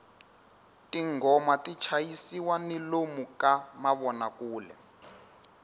tinghoma ti chayisiwa ni lomu ka mavonakule